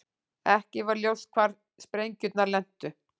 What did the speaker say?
Ekki var ljóst hvar sprengjurnar lentu